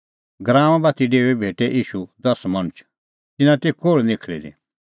गराऊंए बाती डेऊंदी भेटै ईशू दस मणछ तिन्नां ती कोल़्ह निखल़ी दी